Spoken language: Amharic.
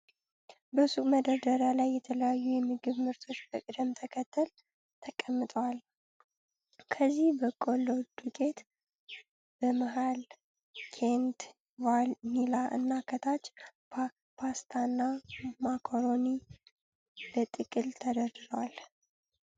በሱቅ መደርደሪያ ላይ የተለያዩ የምግብ ምርቶች በቅደም ተከተል ተቀምጠዋል። ከላይ በቆሎ ዱቄት፣ በመሃል ኬንት ቫኒላ እና ከታች ፓስታና ማካሮኒ በጥቅል ተደርድረዋል።